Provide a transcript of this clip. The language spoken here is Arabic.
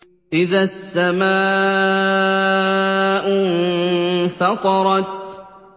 إِذَا السَّمَاءُ انفَطَرَتْ